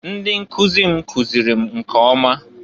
Ndị nkụzị m kụzịlị m nke ọma.